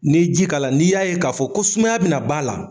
N'i ye ji k'a la, n'i y'a ye k'a fɔ ko sumaya bɛna b'a la